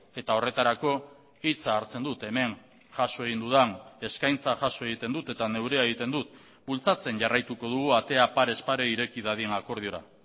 eta horretarako hitza hartzen dut hemen jaso egin dudan eskaintza jaso egiten dut eta neurea egiten dut bultzatzen jarraituko dugu atea parez pare ireki dadin akordiora